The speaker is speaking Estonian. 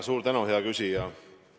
Suur tänu, hea küsija!